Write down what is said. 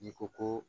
N'i ko ko